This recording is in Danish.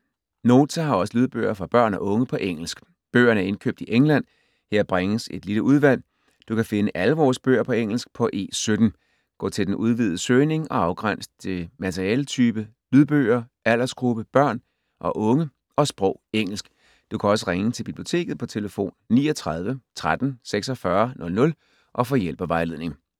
Nota har også lydbøger for børn og unge på engelsk. Bøgerne er indkøbt i England. Her bringes et lille udvalg. Du kan finde alle vores bøger på engelsk på E17. Gå til den udvidede søgning og afgræns til materialetype lydbøger, aldersgruppe børn og unge og sprog engelsk. Du kan også ringe til Biblioteket på tlf. 39 13 46 00 og få hjælp og vejledning.